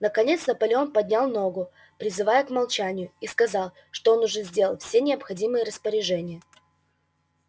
наконец наполеон поднял ногу призывая к молчанию и сказал что он уже сделал все необходимые распоряжения